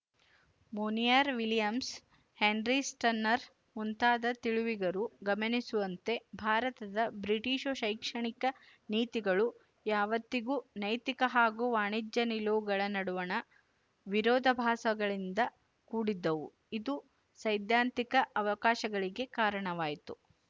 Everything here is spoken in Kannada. ಮೊನಿಯರ್ ವಿಲಿಯಮ್ಸ್ ಹೆನ್ರಿ ಸ್ಟನ್ನರ್ ಮುಂತಾದ ತಿಳಿವಿಗರು ಗಮನಿಸುವಂತೆ ಭಾರತದ ಬ್ರಿಟಿಶು ಶೈಕ್ಷಣಿಕ ನೀತಿಗಳು ಯಾವತ್ತಿಗೂ ನೈತಿಕ ಹಾಗೂ ವಾಣಿಜ್ಯ ನಿಲುವುಗಳ ನಡುವಣ ವಿರೋಧಭಾಸಗಳಿಂದ ಕೂಡಿದ್ದವು ಇದು ಸೈದ್ಧಾಂತಿಕ ಅವಕಾಶಗಳಿಗೆ ಕಾರಣವಾಯಿತು